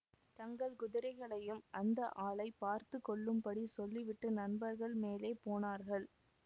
தங்கள் குதிரைகளையும் அந்த ஆளைப் பார்த்து கொள்ளும்படி சொல்லிவிட்டு நண்பர்கள் மேலே போனார்கள்